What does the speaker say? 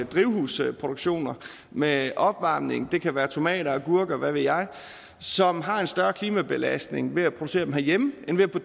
drivhusproduktioner med opvarmning det kan være tomater agurker og hvad ved jeg som har en større klimabelastning ved at blive produceret herhjemme end ved at